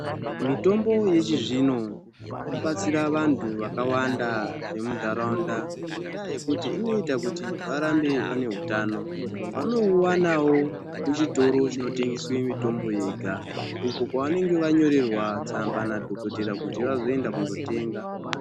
Mitombo yechizvino inobatsira vantu vakawanda vemuntaraunda ngendaa yekuti inoita kuti varambe vane utano vanouwanawo kuchitoro chinotengeswe mitombo yega ukwo kwavanenge vanyorerwa tsamba nadhokodheya kuti vazoenda kunotenga.